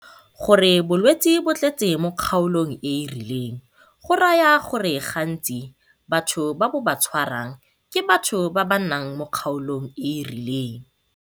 Go re bolwetse bo tletse mo kgaolong e e rileng go raya gore gantsi batho ba bo ba tshwarang ke batho ba ba nnang mo kgaolong e e rileng.